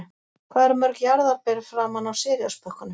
Hvað eru mörg jarðarber framan á Cheerios-pökkunum?